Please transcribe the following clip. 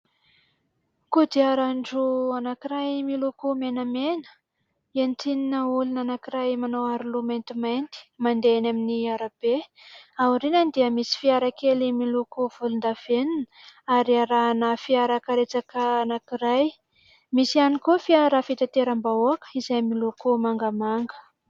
Kodiarandroa anankiray miloko maintimaty entina olona anankiray manao aroloha maintimainty mandeha eny amin'ny arabe. Ao aorianany dia misy fiara kely miloko volondavenona ary arahana fiarakaretsaka anankiray. Misy ihany koa firar fitateram-bahoaka izay miloko mangamanga.